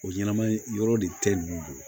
O ɲɛnɛma yi yɔrɔ de tɛ ninnu bolo